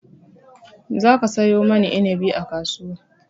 Za ka sayo mani inabi a kasuwa!